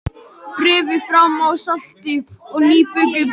Berið fram með salati og nýbökuðu brauði.